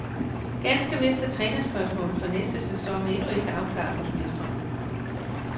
Ganske vist er trænerspørgsmålet for næste sæson endnu ikke afklaret hos mestrene.